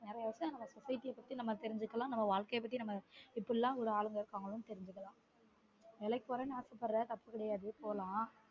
நெறய விசயம் நம்ம இந்த society பத்தி தெரிஞ்சுக்கலான் நம்ம வாழ்க்கைய பத்தி இப்டிலான் உள்ள ஆட்கள் இருக்கங்க தெரிஞ்சுக்கலான் வேலைக்கு போறனு ஆசைப்படுற தப்பு கெடையாது போலான்